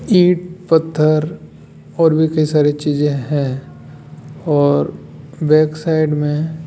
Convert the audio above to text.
ईट पत्थर और भी कई सारी चीज हैं और बैक साइड में --